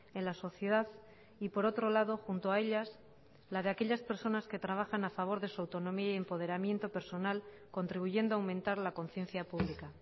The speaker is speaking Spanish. en la sociedad y por otro lado junto a ellas la de aquellas personas que trabajan a favor de su autonomía y empoderamiento personal contribuyendo a aumentar la conciencia pública